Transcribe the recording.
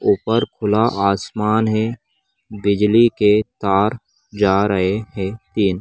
ऊपर खुला आसमान है बिजली के तार जा रहे हैं तीन |